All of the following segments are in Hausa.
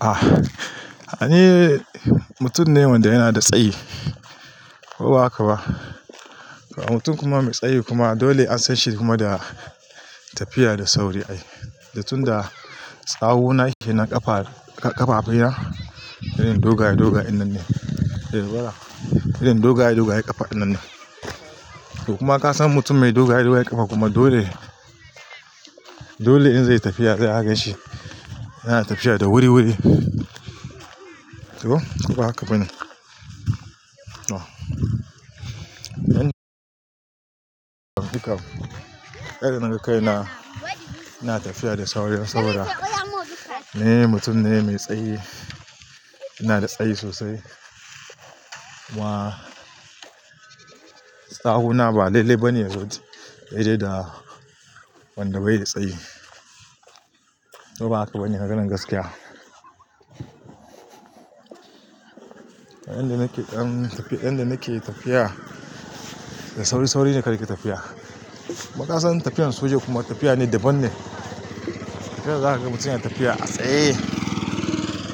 Ah! Ni mutum ne wanda yana da tsayi, ba haka ba. Mutum kuma mai tsayi kuma dole an san shi kuma da tafiya da sauri ai. Da tunda tsawuna kenan ƙafa, ƙafafe na, idan dogaye dogaye ƙafa din nan ne. To kuma ka san mutum mai dogaye dogaye ƙafa kuma dole, dole in zai yi tafiya zai a ganshi, yana tafiya da wuri-wuri. To ko ba haka bane. Oh! Ƙarin na gaskiya yana tafiya da sauri saboda. Ni mutum ne mai tsayi, ina da tsayi sosai. Kuma tsawuna ba laile bane yaje wanda bai da tsayi. To ba haka bane maganan gaskiya. Inda nake, inda nake tafiya, da sauri-sauri ne nake tafiya. Kuma ka san tafiyar soja kuma tafiya ne daban ne. Tafiyar zakaga mutum yana tafiya a tsaye.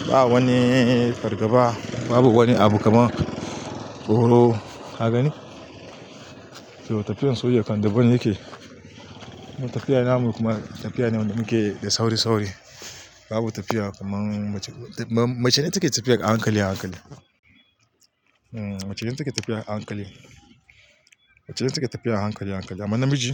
Ba wani fargaba, babu wani abu kamar tsoro, haka ne? To tafiyar soja kam daban yake. Kuma tafiya namu kuma tafiya ne wadda muke da sauri-sauri. Babu tafiya kaman mace, macene take tafiya a hankali, a hankali. Eeh, macene take tafiya a hankali. Macene take tafiya a hankali, hankali amma namiji.